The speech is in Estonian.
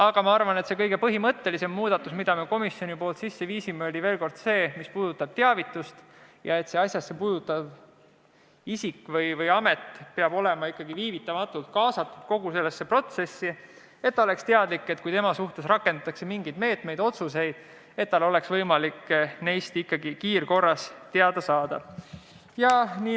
Aga ma arvan, et kõige põhimõttelisem muudatus, mille komisjon sisse viis, oli see, mis puudutab teavitust – seda, et asjasse puutuv isik või amet peab olema viivitamatult kaasatud kogu protsessi, et ta oleks teadlik, kui tema suhtes rakendatakse mingeid meetmeid või tehakse otsuseid, ja et tal oleks võimalik neist kiirkorras teada saada.